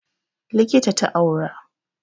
Likita ta aura